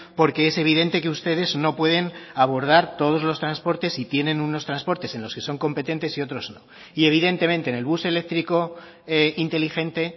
porque es evidente que ustedes no pueden abordar todos los transportes y tienen unos transportes en los que son competentes y otros no y evidentemente en el bus eléctrico inteligente